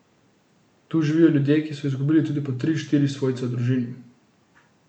Tu živijo ljudje, ki so izgubili tudi po tri, štiri svojce v družini.